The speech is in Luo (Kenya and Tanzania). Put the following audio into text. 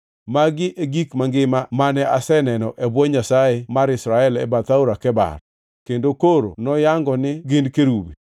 Magi e gik mangima mane aseneno e bwo Nyasaye mar Israel e bath Aora Kebar, kendo koro nayango ni gin kerubi.